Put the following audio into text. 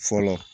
Fɔlɔ